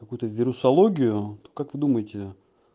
какую-то вирусологию как вы думаете